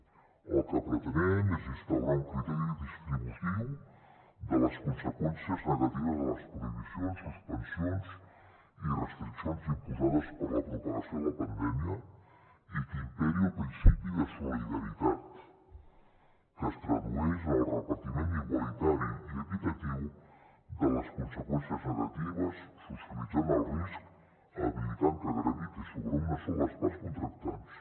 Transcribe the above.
el que pretenem és instaurar un criteri distributiu de les conseqüències negatives de les prohibicions suspensions i restriccions imposades per la propagació de la pandèmia i que imperi el principi de solidaritat que es tradueix en el repartiment igualitari i equitatiu de les conseqüències negatives socialitzant el risc evitant que graviti sobre una sola de les parts contractants